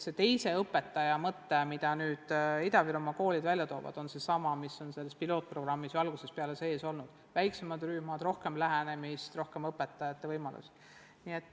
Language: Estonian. Ka teise õpetaja rakendamise mõte, mida Ida-Virumaa koolid on välja pakkunud, on selles pilootprogrammis algusest peale sees olnud – väiksemad rühmad, rohkem individuaalset lähenemist, rohkem õpetajate võimalusi.